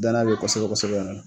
Danaya be yen kosɛbɛ kosɛbɛ